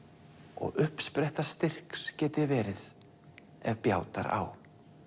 og uppspretta styrks geti verið ef bjátar á